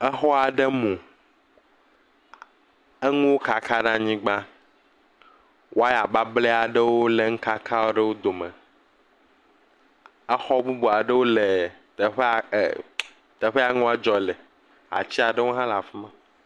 Xɔ aɖe mu. Nuwo kaka ɖe anyigba. Wɔya bablɛ aɖewo le nu kaka aɖewo dome. Xɔ bubu aɖewo le teƒea nua dzɔ le. Ati aɖewo hã le afi ma.